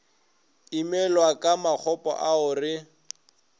imela ka makgopo ao re